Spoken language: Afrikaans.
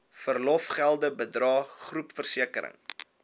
verlofgelde bydrae groepversekering